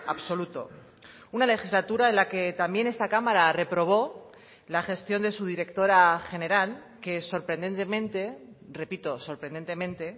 absoluto una legislatura en la que también esta cámara reprobó la gestión de su directora general que sorprendentemente repito sorprendentemente